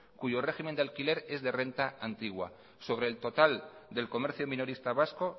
cuyo régimen de alquiler es de renta antigua sobre el total del comercio minorista vasco